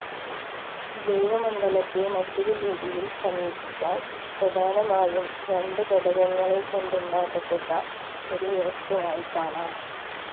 ജൈവമണ്ഡലത്തെ മറ്റൊരു രീതിയിൽ സമീപിച്ചാൽ പ്രധാനമായും രണ്ട് ഘടകങ്ങളെ കൊണ്ടുണ്ടാക്കപ്പെട്ട ഒരു വ്യവസ്ഥയായി കാണാം